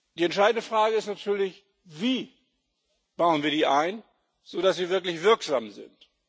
Die entscheidende Frage ist natürlich Wie bauen wir die ein, sodass sie wirklich wirksam sind?